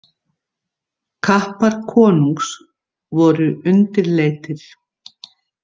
Kappar konungs voru undirleitir.